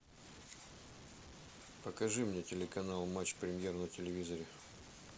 покажи мне телеканал матч премьер на телевизоре